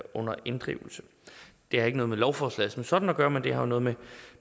under inddrivelse det har ikke noget med lovforslaget som sådan at gøre men det har jo noget med